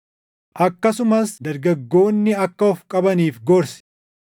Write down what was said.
Akkasumas dargaggoonni akka of qabaniif gorsi.